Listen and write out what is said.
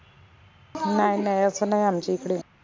नाय नाय अस नाई आमच्या इकडे